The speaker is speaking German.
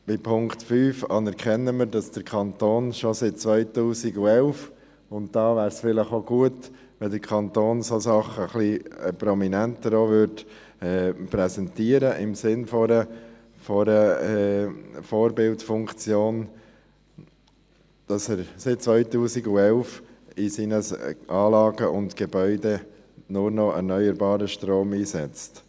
Beim Punkt 5 anerkennen wir, dass der Kanton bereits seit dem Jahr 2011 – diesbezüglich wäre es gut, der Kanton präsentierte solche Dinge im Sinne einer Vorbildfunktion prominenter – in seinen Anlagen und Gebäuden nur noch erneuerbaren Strom einsetzt.